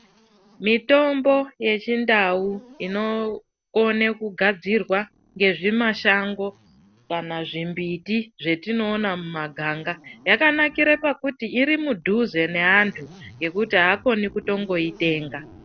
Mitombo yechindau inokone kugadzirwa ngezvimashango kana zvimbiti zvetiinoona mumuganga. Zvakanakira pakuti iri mudhuze neantu ngekuti akoni kutongoitenga.